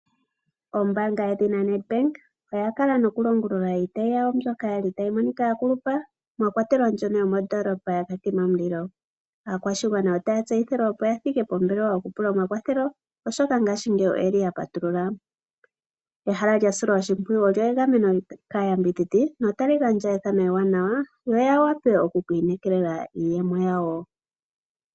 Ombaanga yedhina Nedbank oya kala nokulongulula iitayi yayo mbyoka yali tayi monikwa yakulupa, mwakwatelwa mbyono yo moondoolopa yaKatima Mulilo. Aakwashigwana otaya tseyithilwa opo yathike pombelewa yoku pula omakwatho oshoka ngashingeyi oye li yapatulula. Ehala lyasilwa oshimpwuyu olya gamenwa kaa yambidhidha notali gandja ethano ewanawa yo ya wape okukwiinekelela iiyemo yawo.